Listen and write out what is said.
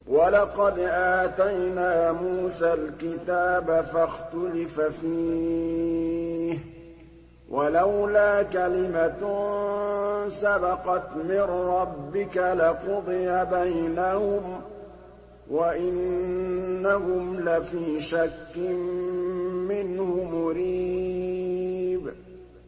وَلَقَدْ آتَيْنَا مُوسَى الْكِتَابَ فَاخْتُلِفَ فِيهِ ۗ وَلَوْلَا كَلِمَةٌ سَبَقَتْ مِن رَّبِّكَ لَقُضِيَ بَيْنَهُمْ ۚ وَإِنَّهُمْ لَفِي شَكٍّ مِّنْهُ مُرِيبٍ